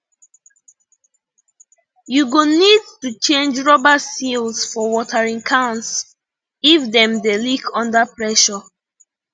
you go need to change rubber seals for watering cans if dem dey leak under pressure